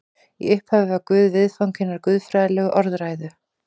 Í upphafi var Guð viðfang hinnar guðfræðilegu orðræðu.